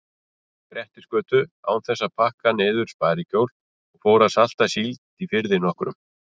Grettisgötu án þess að pakka niður sparikjól og fór að salta síld í firði nokkrum.